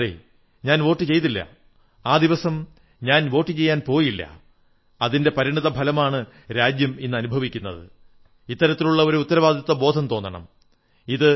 അതെ ഞാൻ വോട്ടു ചെയ്തില്ല ആ ദിവസം ഞാൻ വോട്ടു ചെയ്യാൻ പോയില്ല അതിന്റെ പരിണിതഫലമാണ് രാജ്യം ഇന്നനുഭവിക്കുന്നത് എന്നുള്ള ഉത്തരവാദിത്വബോധം തോന്നണം